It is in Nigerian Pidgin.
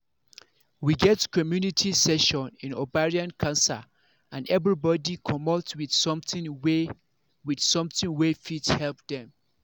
we get community session in ovarian cancer and everybody commot with something wey with something wey fit help dem